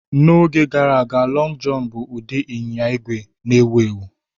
N'oge gara aga, "Lọng Jọn" bụ ụdị ịnyịnya ígwè na-ewu ewu